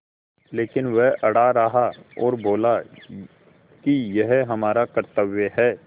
लेकिन वह अड़ा रहा और बोला कि यह हमारा कर्त्तव्य है